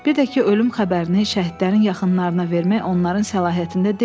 Bir də ki, ölüm xəbərini şəhidlərin yaxınlarına vermək onların səlahiyyətində deyildi.